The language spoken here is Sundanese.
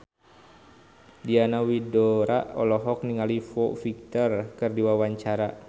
Diana Widoera olohok ningali Foo Fighter keur diwawancara